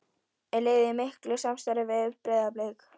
Er liðið í miklu samstarfi við Breiðablik?